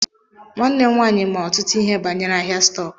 Nwanne m nwaanyị ma ọtụtụ ihe banyere ahịa stọk.